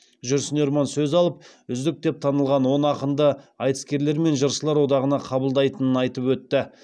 жүрсін ерман сөз алып үздік деп танылған он ақынды айтыскерлер мен жыршылар одағына қабылдайтынын айтып өтті